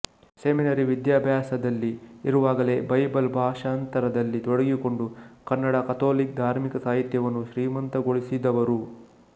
seminary ವಿದ್ಯಾಭ್ಯಾಸದಲ್ಲಿ ಇರುವಾಗಲೇ Bible ಭಾಷಾಂತರದಲ್ಲಿ ತೊಡಗಿಕೊಂಡು ಕನ್ನಡ ಕಥೋಲಿಕ ಧಾರ್ಮಿಕ ಸಾಹಿತ್ಯವನ್ನು ಶ್ರೀಮಂತಗೊಳಿಸಿದವರು